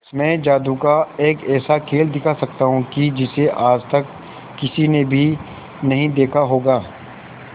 मैं जादू का एक ऐसा खेल दिखा सकता हूं कि जिसे आज तक किसी ने भी नहीं देखा होगा